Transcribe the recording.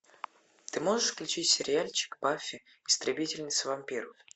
ты можешь включить сериальчик баффи истребительница вампиров